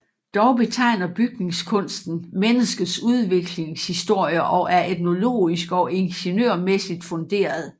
Dog betegner bygningskunsten menneskets udviklingshistorie og er etnologisk og ingeniørmæssigt funderet